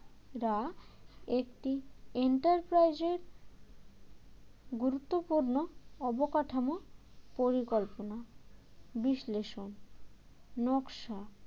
এরা একটি enterprise এর গুরুত্বপূর্ণ অবকাঠামো পরিকল্পনা বিশ্লেষণ নকশা